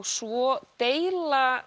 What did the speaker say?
svo deila